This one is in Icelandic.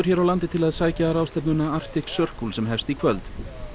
hér á landi til að sækja ráðstefnuna Arctic Circle sem hefst í kvöld